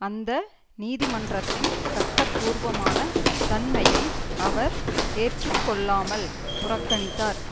அந்த நீதிமன்றத்தின் சட்டபூர்வமான தன்மையை அவர் ஏற்றுக்கொள்ளமால் புறக்கணித்தார்